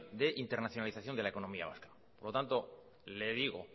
de internacionalización de la economía vasco por lo tanto le digo